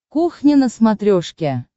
кухня на смотрешке